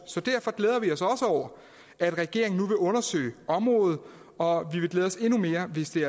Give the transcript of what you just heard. over at regeringen nu vil undersøge området og vi vil glæde os endnu mere hvis det